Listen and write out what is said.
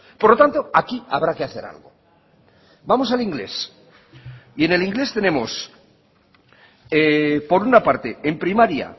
por lo tanto aquí habrá que hacer algo vamos al inglés y en el inglés tenemos por una parte en primaria